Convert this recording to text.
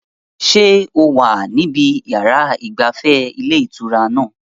Ṣé o wà níbi yàrá ìgbafẹ́ ilé ìtura náà?